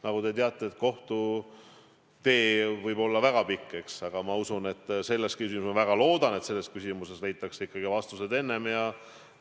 Nagu te teate, võib kohtutee olla väga pikk, eks, aga ma usun ja väga loodan, et selles küsimuses leitakse vastused ikkagi enne.